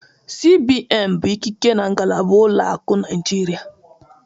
CBN bụ ikike na ngalaba ụlọ akụ Naịjirịa